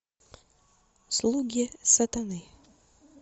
слуги сатаны